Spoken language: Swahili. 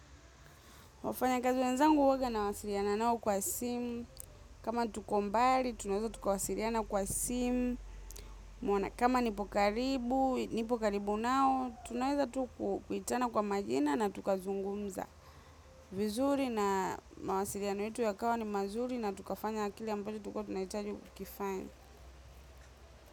Wafanyakazi wenzangu huwaga nawasiliana nao kwa simu, kama tuko mbali tunaweza tukawasiliana kwa simu, kama nipo karibu, nipo karibu nao, tunaweza tukuitana kwa majina na tukazungumza. Vizuri na mawasiliano yetu yakawa ni mazuri na tukafanya kile ambacho tulikuwa tunahitaji kukifanya.